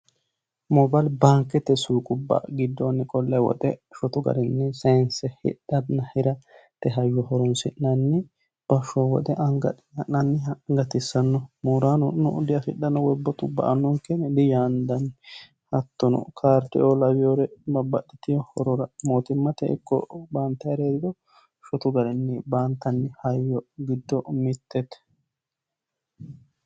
Moobile baankete suuqubba giddoni qolle woxe sayse hidhanna hira horonsi'nanni bashsho woxe anga adhine ha'nanniha gatisano mooranono diaffidhano woyi woxu ba"anonke yine diyaandanni hattono kaarideo lawinore babbaxitino horora mootimma ikko baantanniri heeriro shotu garinni baantanni hayyo giddo mitete.